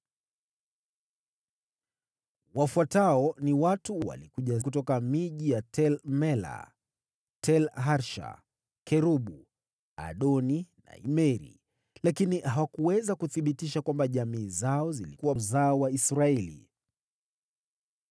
Wafuatao walikuja kutoka miji ya Tel-Mela, Tel-Harsha, Kerubu, Adoni na Imeri, lakini hawakuweza kuthibitisha kwamba jamaa zao zilikuwa uzao wa Israeli: